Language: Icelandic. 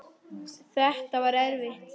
Þinn Arnar Freyr.